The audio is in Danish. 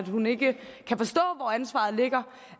hun ikke kan forstå hvor ansvaret ligger